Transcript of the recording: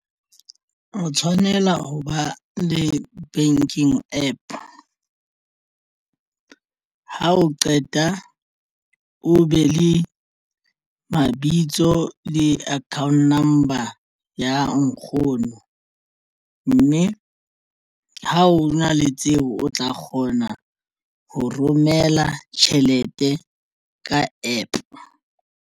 O tshwanela ho ba le banking APP ha o qeta o be le mabitso le account number ya nkgono mme ha o na le tsebo o tla kgona ho romela tjhelete ka APP.